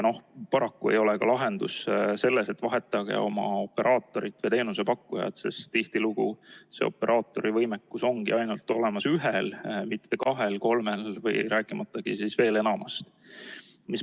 Paraku ei ole lahendus ka selles, et vahetage operaatorit või teenusepakkujat, sest tihtilugu operaatorivõimekus ongi ainult olemas ühel, mitte kahel-kolmel, rääkimata siis veel enamast.